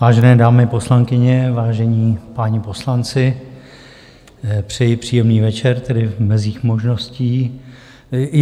Vážené dámy poslankyně, vážení páni poslanci, přeji příjemný večer, tedy v mezích možností.